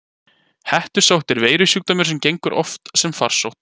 Hettusótt er veirusjúkdómur sem gengur oft sem farsótt.